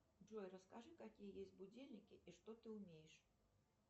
джой расскажи какие есть будильники и что ты умеешь